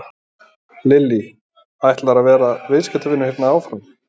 Lillý: Ætlarðu að vera viðskiptavinur hérna áfram?